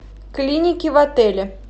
клиники в отеле